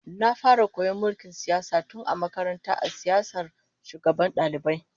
Na fara koyon mulkin siyasa tun a makaranta a siyasar shugabancin dalibai